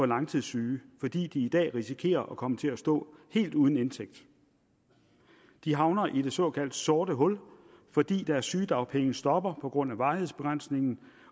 langtidssyge fordi de i dag risikerer at komme til at stå helt uden indtægt de havner i det såkaldt sorte hul fordi deres sygedagpenge stopper på grund af varighedsbegrænsningen